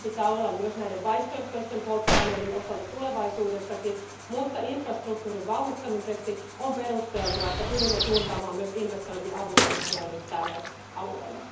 Näin sen pitää olla myös näiden vaihtoehtoisten polttoaineiden osalta tulevaisuudessakin, mutta infrastruktuurin vauhdittamiseksi on perusteltua, että pyrimme suuntaamaan myös investointiavustuksia nyt tälle alueelle.